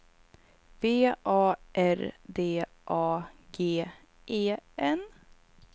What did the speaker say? V A R D A G E N